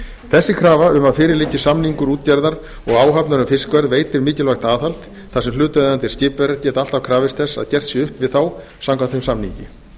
þessi krafa um að fyrir liggi samningur útgerðar og áhafnar um fiskverð veitir mikilvægt aðhald þar sem hlutaðeigandi skipverjar geti alltaf krafist þess að gert sé upp við þá samkvæmt þeim samningi